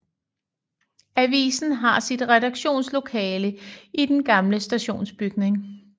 Avisen har sit redaktionslokale i den gamle stationsbygning